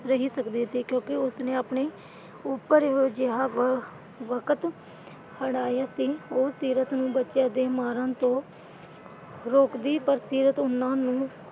ਰਹੀ ਸਕਦੀ ਸੀ ਕਿਉਂਕਿ ਉਸ ਨੇ ਆਪਣੇ ਉੱਪਰ ਅਜਿਹਾ ਵਕਤ ਹੰਢਾਇਆ ਸੀ। ਉਹ ਸੀਰਤ ਨੂੰ ਬੱਚਿਆਂ ਦੇ ਮਾਰਨ ਤੋਂ ਰੋਕਦੀ ਪਰ ਸੀਰਤ ਉਨ੍ਹਾਂ ਨੂੰ,